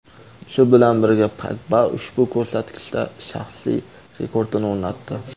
Shu bilan birga Pogba ushbu ko‘rsatkichda shaxsiy rekordini o‘rnatdi.